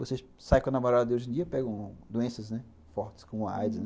Vocês saem com a namorada de hoje em dia e pegam doenças fortes, como AIDS.